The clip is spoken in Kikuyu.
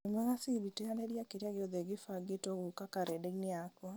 wĩ mwega siri teanĩria kĩrĩa gĩothe kĩbangĩtwo gũka karenda-inĩ yakwa